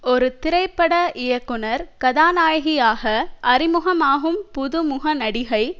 ஒரு திரைப்பட இயக்குனர் கதாநாயகியாக அறிமுகமாகும் புதுமுக நடிகை